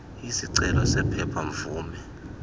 isicelo sephepha mvume